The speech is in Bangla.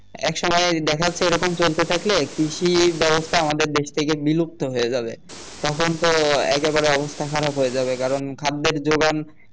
এক সময় দেখা যাচ্ছে এরকম চলতে থাকলে কৃষি ব্যবস্থা আমাদের দেশ থেকে বিলুপ্ত হয়ে যাবে তখন তো একেবারে অবস্থা খারাপ হয়ে যাবে কারণ খাদ্যের যোগান